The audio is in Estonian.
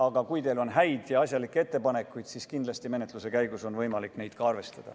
Aga kui teil on häid ja asjalikke ettepanekuid, siis kindlasti menetluse käigus on võimalik neid ka arvestada.